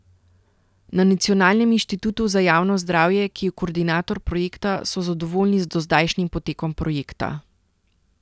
Na Nacionalnem inštitutu za javno zdravje, ki je koordinator projekta, so zadovoljni z dozdajšnjim potekom projekta.